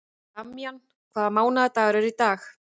Damjan, hvaða mánaðardagur er í dag?